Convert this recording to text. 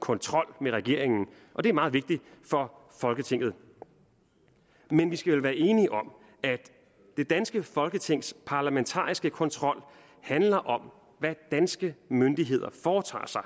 kontrol med regeringen og det er meget vigtigt for folketinget men vi skal vel være enige om at det danske folketings parlamentariske kontrol handler om hvad danske myndigheder foretager sig